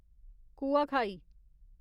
Kuakhai